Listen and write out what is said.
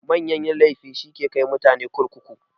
Manyan laifi shi yake kai mutane kurkuku.